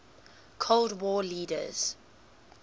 cold war leaders